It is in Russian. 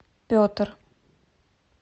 петр